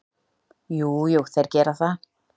Jú, jú, þeir gera það.